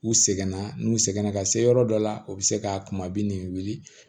U seginna n'u sɛgɛnna ka se yɔrɔ dɔ la u bɛ se ka kuma bi nin wuli